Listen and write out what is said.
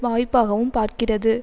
வாய்ப்பாகவும் பார்க்கிறது